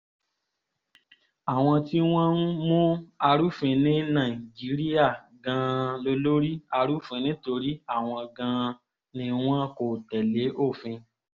àwọn tí wọ́n ń mú arúfin ní nàìjíríà gan-an lólórí arúfin nítorí àwọn gan-an ni wọn kò tẹ̀lé òfin